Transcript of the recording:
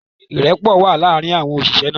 Ìrẹ́pọ̀ wà láàrin àwọn òṣìṣẹ́ náà